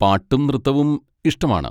പാട്ടും നൃത്തവും ഇഷ്ടമാണ്.